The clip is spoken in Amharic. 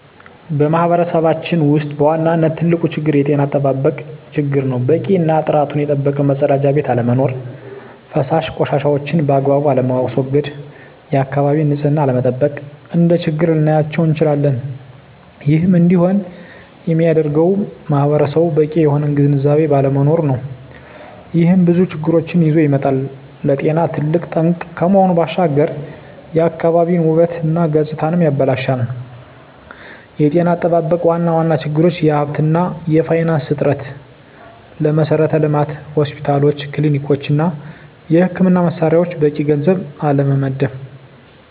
በማህበረሰባችን ውስጥ በዋናነት ትልቁ ችግር የጤና አጠባበቅ ችግር ነው። በቂ እና ጥራቱን የጠበቀ መፀዳጃ ቤት አለመኖር። ፈሳሽ ቆሻሻዎችን ባግባቡ አለማስዎገድ፣ የአካባቢን ንፅህና አለመጠበቅ፣ እንደ ችግር ልናያቸው እንችላለን። ይህም እንዲሆን የሚያደርገውም ማህበረሰቡ በቂ የሆነ ግንዝቤ ባለመኖሩ ነው። ይህም ብዙ ችግሮችን ይዞ ይመጣል። ለጤና ትልቅ ጠንቅ ከመሆኑ ባሻገር የአካባቢን ውበት እና ገፅታንም ያበላሻል። የጤና አጠባበቅ ዋና ዋና ችግሮች የሀብት እና የፋይናንስ እጥረት፣ ለመሠረተ ልማት (ሆስፒታሎች፣ ክሊኒኮች) እና የሕክምና መሣሪያዎች በቂ ገንዘብ አለመመደብ።